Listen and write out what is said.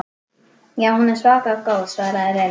Já, hún er svaka góð svaraði Lilla.